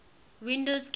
windows games